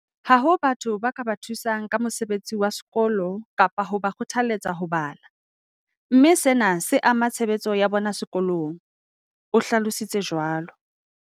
"Ha hona batho ba ka ba thusang ka mosebetsi wa sekolo kapa ho ba kgothalletsa ho bala, mme sena se ama tshebetso ya bona sekolong," o hlalo sitse jwalo.